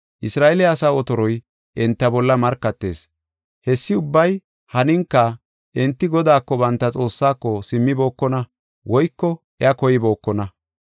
Isra7eele asaa otoroy enta bolla markatees. Hessi ubbay haninka enti Godaako, banta Xoossaako, simmibokona woyko iya koybookona.